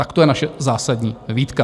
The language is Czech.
Tak to je naše zásadní výtka.